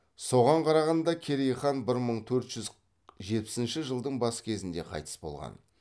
соған қарағанда керей хан бір мың төрт жүз жетпісінші жылдың бас кезінде қайтыс болған